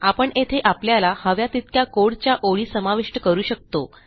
आपण येथे आपल्याला हव्या तितक्या कोड च्या ओळी समाविष्ट करू शकतो